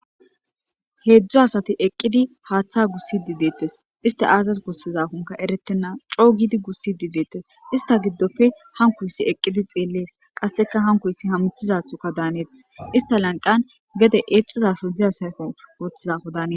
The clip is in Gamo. Hezdzdu asati eqidi haatha gusidi detesi, isti aazasi gusizakonka eretena co giidi gusidi detesi , ista gidoppe hankoysi eqidi xelesi Qaseka hankoysi hamutizathoka danetes, ista lanqani gede ixizasoyi dizaysako woxizadaka danwtesi.